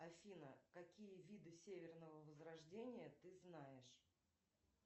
афина какие виды северного возрождения ты знаешь